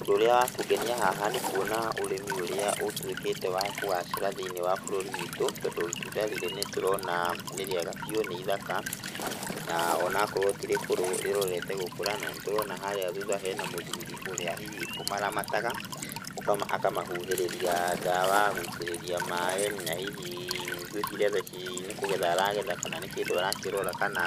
ũndũ ũrĩa wa kũngenia haha nĩ kwona ũrimi ũrĩa ũtwĩkĩte wa kũgacĩra thĩ-inĩ wa bũrũri witũ, tondũ itunda rĩrĩ nĩ tũrona nĩ rĩega bĩũ, nĩ ithaka, na ona akorwo tirĩkũrũ rĩrorete gũkũra, na nĩ tũrona harĩa thutha hena mũthũri ũrĩa hihi ũmaramataga, akamahuhĩrĩria ndawa, gwĩitĩrĩria maaĩ na hihi ngwĩciria thaa ici nĩ kũgetha aragetha, kana nĩ kĩndũ arakĩrora kana